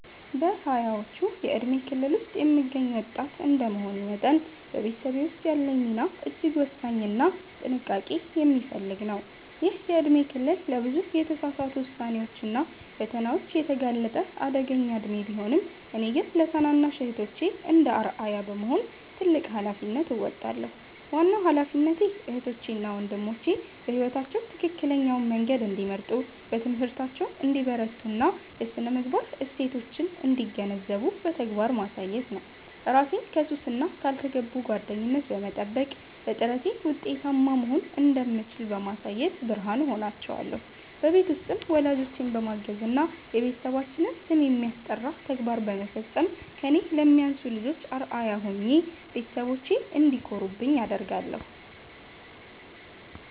በሃያዎቹ የእድሜ ክልል ውስጥ የምገኝ ወጣት እንደመሆኔ መጠን፤ በቤተሰቤ ውስጥ ያለኝ ሚና እጅግ ወሳኝና ጥንቃቄ የሚፈልግ ነው። ይህ የእድሜ ክልል ለብዙ የተሳሳቱ ውሳኔዎችና ፈተናዎች የተጋለጠ አደገኛ እድሜ ቢሆንም፤ እኔ ግን ለታናናሽ እህቶቼ እንደ አርአያ በመሆን ትልቅ ኃላፊነት እወጣለሁ። ዋናው ኃላፊነቴ እህቶቼ እና ወንድሞቼ በሕይወታቸው ትክክለኛውን መንገድ እንዲመርጡ፣ በትምህርታቸው እንዲበረቱና የሥነ-ምግባር እሴቶችን እንዲገነዘቡ በተግባር ማሳየት ነው። እራሴን ከሱስና ካልተገቡ ጓደኝነት በመጠበቅ፤ በጥረቴ ውጤታማ መሆን እንደምችል በማሳየት ብርሃን እሆናቸዋለሁ። በቤት ውስጥም ወላጆቼን በማገዝና የቤተሰባችንን ስም የሚያስጠራ ተግባር በመፈጸም ከእኔ ለሚያንሱ ልጆች አርአያ ሆኜ ቤተሰቦቼ እንዲኮሩብኝ አደርጋለሁ።